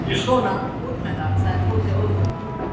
Svona, út með það, sagði Tóti óþolinmóður.